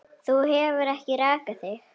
Þú hefur ekki rakað þig.